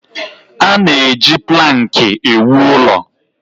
A na-eji plankị ewu ụlọ.